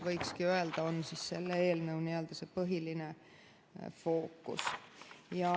Võikski öelda, et KOTKAS on selle eelnõu põhiline fookus.